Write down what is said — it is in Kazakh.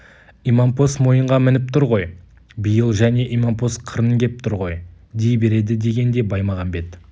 имампос мойынға мініп тұр ғой биыл және имампос қырын кеп тұр ғой дей береді дегенде баймағамбет